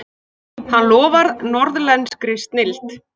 Hann lofar norðlenskri snilld.